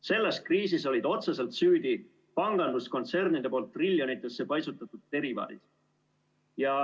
Selles kriisis olid otseselt süüdi panganduskontsernide poolt triljonitesse paisutatud derivaadid.